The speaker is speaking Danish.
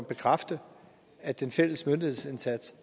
bekræfte at den fælles myndighedsindsats